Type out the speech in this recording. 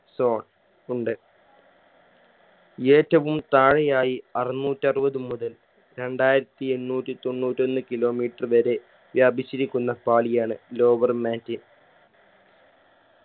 zone ഉണ്ട് ഏറ്റവും താഴെയായി അറുന്നൂറ്ററുവത് മുതൽ രണ്ടായിരത്തി എണ്ണൂറ്റി തൊണ്ണൂറ്റൊന്ന് kilometer വരെ വ്യാപിച്ചിരിക്കുന്ന പാളിയാണ് lower mantle